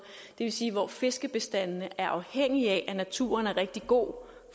vil sige hvor fiskebestandene er afhængige af at naturen er rigtig god